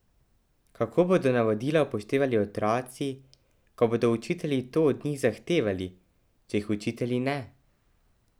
Kako bodo navodila upoštevali otroci, ko bodo učitelji to od njih zahtevali, če jih učitelji ne?